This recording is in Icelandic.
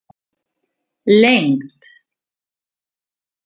lengd